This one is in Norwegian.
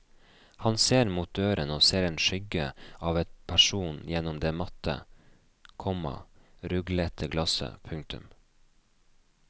Han ser mot døren og ser en skyggen av en person gjennom det matte, komma ruglete glasset. punktum